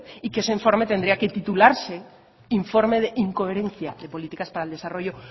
y que ese informe tendría que titularse informe de incoherencia de políticas para el desarrollo